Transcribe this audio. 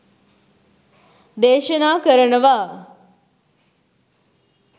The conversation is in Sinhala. දේශනා කරනවා.